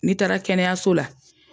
Ni taara kɛnɛyaso la.